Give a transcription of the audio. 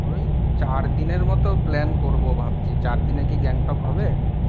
ওই চারদিনের মত plan করবো ভাবছি। চারদিনে কী গ্যাংটক হবে?